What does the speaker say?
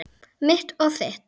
Mitt og þitt.